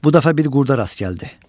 Bu dəfə bir qurda rast gəldi.